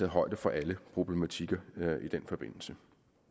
højde for alle problematikker i den forbindelse